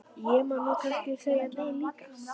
Ég má nú kannski segja nei líka.